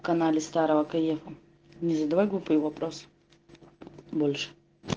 анализ старого кайфом не задавай глупые вопросы больше